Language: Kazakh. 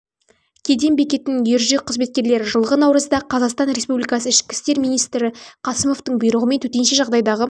кеден бекетінің ержүрек қызметкерлері жылғы наурызда қазақстан республикасы ішкі істер министрі қасымовтың бұйрығымен төтенше жағдайдағы